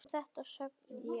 Um þetta söng ég: